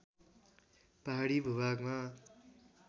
पहाडी भूभागमा